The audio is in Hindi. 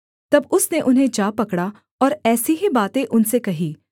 तब उसने उन्हें जा पकड़ा और ऐसी ही बातें उनसे कहीं